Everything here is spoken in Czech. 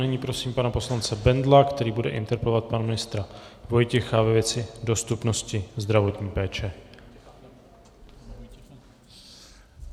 Nyní prosím pana poslance Bendla, který bude interpelovat pana ministra Vojtěcha ve věci dostupnosti zdravotní péče.